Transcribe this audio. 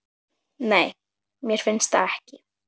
Nei, mér finnst það ekki.